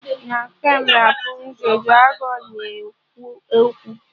Na feem Rapụnzel, dragọn na-ekwu okwu